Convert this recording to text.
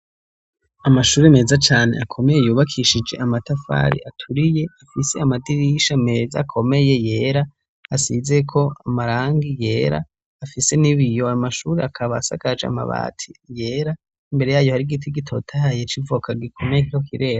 Amashure meza cane akomeye yubakishije amatafari aturiye afise amadirisha meza akomeye yera asizeko amarangi yera afise n'ibiyo ayo mashure akaba asakaje amabati yera imbere yayo hari igiti gitotahaye c'ivoka gikomeye kiriko kirera.